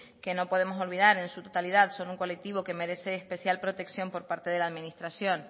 que no podemos olvidar en su totalidad son un colectivo que merece especial protección por parte de la administración